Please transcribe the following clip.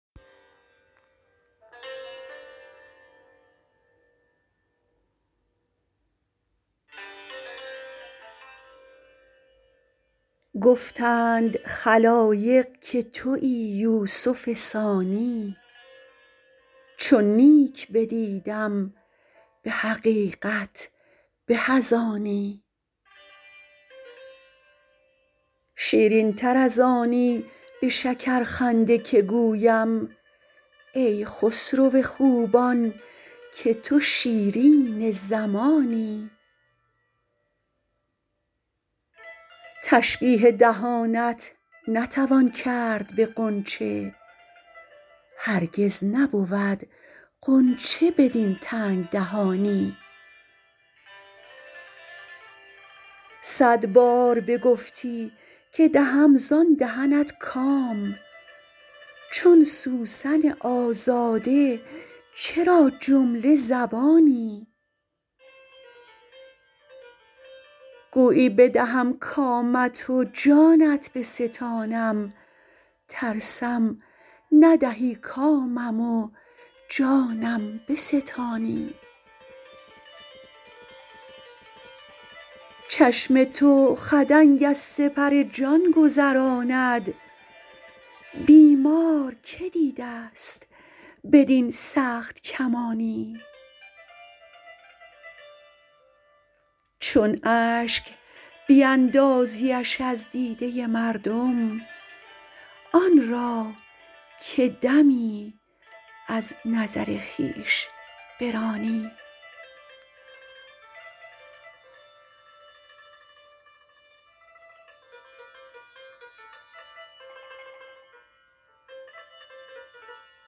گفتند خلایق که تویی یوسف ثانی چون نیک بدیدم به حقیقت به از آنی شیرین تر از آنی به شکرخنده که گویم ای خسرو خوبان که تو شیرین زمانی تشبیه دهانت نتوان کرد به غنچه هرگز نبود غنچه بدین تنگ دهانی صد بار بگفتی که دهم زان دهنت کام چون سوسن آزاده چرا جمله زبانی گویی بدهم کامت و جانت بستانم ترسم ندهی کامم و جانم بستانی چشم تو خدنگ از سپر جان گذراند بیمار که دیده ست بدین سخت کمانی چون اشک بیندازیش از دیده مردم آن را که دمی از نظر خویش برانی